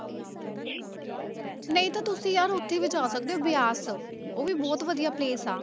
ਨਹੀਂ ਤਾਂ ਤੁਸੀਂ ਯਾਰ ਉੱਥੇ ਵੀ ਜਾ ਸਕਦੇ ਹੋ ਬਿਆਸ, ਉਹ ਵੀ ਬਹੁਤ ਵਧੀਆ place ਆ